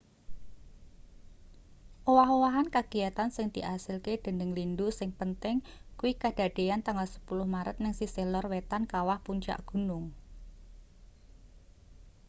owah-owahan kagiyatan sing diasilke dening lindhu sing penting kuwi kadadeyan tanggal 10 maret ning sisih lor wetan kawah puncak gunung